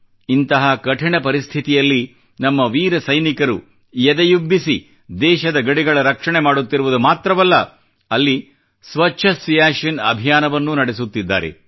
ಇಂತಹ ಕಠಿಣ ಪರಿಸ್ಥಿತಿಯಲ್ಲಿ ನಮ್ಮ ವೀರ ಸೈನಿಕರು ಎದೆಯುಬ್ಬಿಸಿ ದೇಶದ ಗಡಿಗಳ ರಕ್ಷಣೆ ಮಾಡುತ್ತಿರುವುದು ಮಾತ್ರವಲ್ಲ ಅಲ್ಲಿ ಸ್ವಚ್ಛ ಸಿಯಾಚಿನ್ ಅಭಿಯಾನವನ್ನೂ ನಡೆಸುತ್ತಿದ್ದಾರೆ